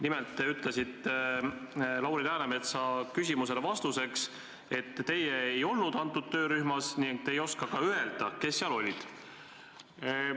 Nimelt te ütlesite Lauri Läänemetsa küsimusele vastates, et teie ei olnud selles töörühmas ning te ei oska ka öelda, kes seal olid.